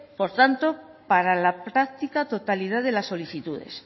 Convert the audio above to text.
por tanto para la práctica totalidad de las solicitudes